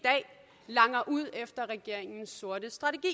langer ud efter regeringens sorte strategi